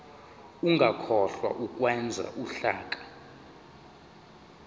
ungakhohlwa ukwenza uhlaka